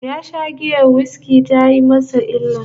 Ya sha giyar whiskey tayi masa illa